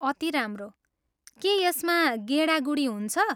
अति राम्रो! के यसमा गेडागुडी हुन्छ?